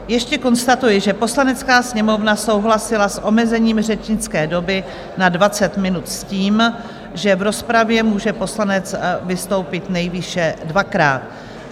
Ještě konstatuji, že Poslanecká sněmovna souhlasila s omezením řečnické doby na 20 minut s tím, že v rozpravě může poslanec vystoupit nejvýše dvakrát.